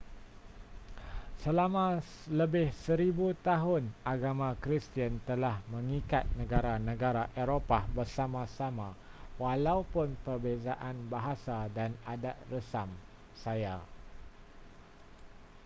selama lebih seribu tahun agama kristian telah mengikat negara-negara eropah bersama-sama walaupun perbezaan bahasa dan adat resam saya